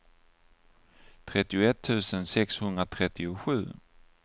trettioett tusen sexhundratrettiosju